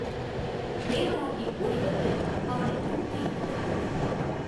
தேவராட்டி ஓடிவந்து அவனைத் தூக்கி எடுத்துக் கொண்டு போனாள்.